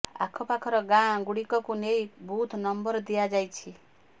ଆଖ ପାଖର ଗାଁ ଗୁଡିକକୁ ନେଇ ବୁଥ ନମ୍ବର ଦିଆଯାଇଛି